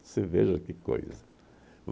Você veja que coisa.